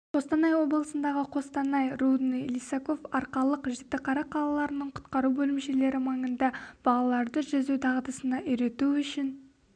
қостанай облысындағы қостанай рудный лисаков арқалық жітіқара қалаларының құтқару бөлімшелері маңында балаларды жүзу дағдысына үйрету үшін